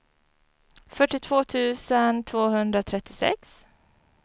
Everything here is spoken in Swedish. fyrtiotvå tusen tvåhundratrettiosex